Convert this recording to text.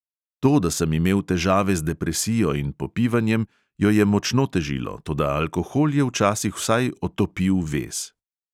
To, da sem imel težave z depresijo in popivanjem, jo je močno težilo – toda alkohol je včasih vsaj otopil vez.